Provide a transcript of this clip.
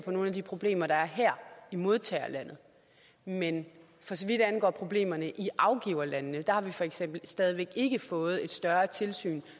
på nogle af de problemer der er her i modtagerlandet men for så vidt angår problemerne i afgiverlandene har vi for eksempel stadig væk ikke fået et større tilsyn